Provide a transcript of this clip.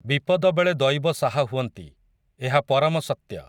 ବିପଦବେଳେ ଦଇବ ସାହା ହୁଅନ୍ତି, ଏହା ପରମ ସତ୍ୟ।